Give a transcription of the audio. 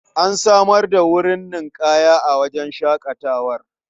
An samar da wurin ninƙaya a wajen shaƙatawar.